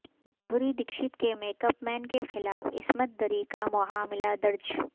مادھوری دکشت کے makeup man کے خلاف عصمت دری کا معاملہ درج